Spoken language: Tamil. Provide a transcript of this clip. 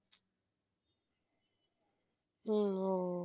உம் ஓஹ